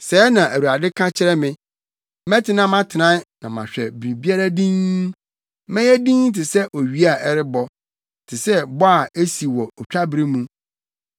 Sɛɛ na Awurade ka kyerɛ me, “Mɛtena mʼatenae, na mahwɛ biribiara dinn. Mɛyɛ dinn te sɛ owia a ɛrebɔ, te sɛ bɔ a esi wɔ otwabere mu.”